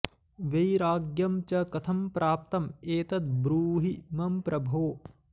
वैराग्यं च कथं प्राप्तं एतद् ब्रूहि मम प्रभो